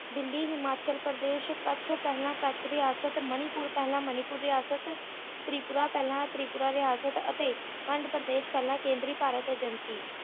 ਦਿੱਲੀ ਹਿਮਾਚਲ ਪ੍ਰਦੇਸ਼ ਕੱਛ ਪਹਿਲਾਂ ਕੱਛ ਰਿਆਸਤ ਮਣੀਪੁਰ ਪਹਿਲਾਂ ਮਣੀਪੁਰ ਰਿਆਸਤ ਤ੍ਰਿਪੁਰਾ ਪਹਿਲਾਂ ਤ੍ਰਿਪਰਾ ਰਿਆਸਤ ਅਤੇ ਖੰਡ ਪ੍ਰਦੇਸ਼ ਪਹਿਲਾਂ ਕੇਂਦਰੀ ਭਾਰਤ Agency